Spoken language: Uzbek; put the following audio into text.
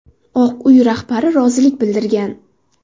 Oq Uy rahbari rozilik bildirgan.